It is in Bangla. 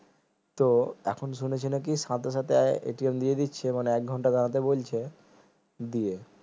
তো এখন শুনেছি নাকি সাথে সাথে দিয়ে দিচ্ছে একঘন্টা দাঁড়াতে বলছে দিয়ে